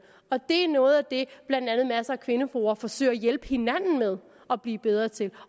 og det er noget af det blandt andet masser af kvindefora forsøger at hjælpe hinanden med at blive bedre til